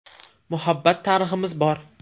Muhabbat tariximiz bor.